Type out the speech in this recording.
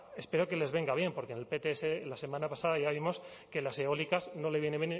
espero que les venga bien porque en el pts la semana pasada ya vimos que las eólicas no le vienen